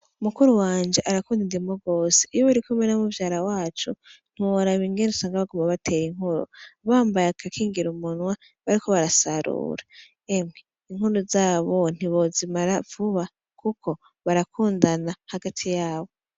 Mukuruwanje arakunda inkuru gose iyo barikumwe namuvyara wanje ntiworaba Ingene baguma batera inkuru bambaye agakingira umunwa bariko barasarura yemwe inkuru Zabo ntiwozimara vuba Kuko barakundana hagati yabo.